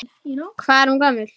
Hvað er hún gömul?